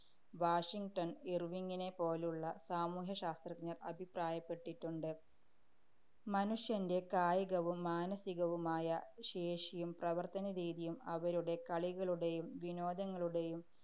Washington‍ ഇര്‍വിങ്ങിനെപ്പോലുള്ള സാമൂഹ്യശാസ്ത്രജ്ഞര്‍ അഭിപ്രായപ്പെട്ടിട്ടുണ്ട്. മനുഷ്യന്‍റെ കായികവും മാനസികവുമായ ശേഷിയും പ്രവര്‍ത്തനരീതിയും അവരുടെ കളികളുടെയും വിനോദങ്ങളുടെയും